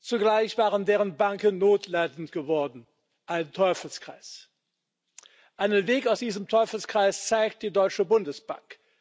Zugleich waren deren Banken notleidend geworden. Ein Teufelskreis! Einen Weg aus diesem Teufelskreis zeigt die Deutsche Bundesbank.